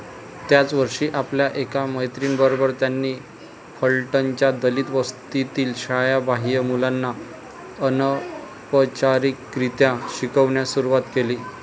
त्याच वर्षी आपल्या एका मैत्रिणीबरोबर त्यांनी फलटणच्या दलित वस्तीतील शाळाबाह्य मुलांना अनौपचारिकरित्या शिकवण्यास सुरुवात केली.